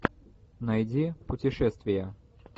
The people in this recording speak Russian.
найди путешествия